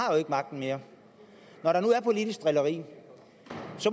magten mere når der nu er politisk drilleri